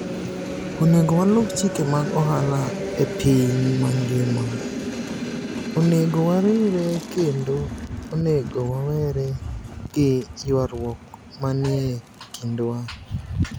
Oni ego waluw chike mag ohala e piniy manigima, oni ego wariwre, kenido oni ego wawere gi ywaruok maniie kinidwa.